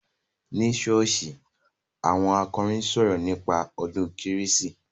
Ní ṣọ́ọ́ṣì, àwọn akọrin sọ̀rọ̀ nípa ọdún kérésì.